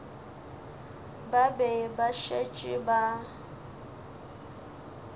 ba be ba šetše ba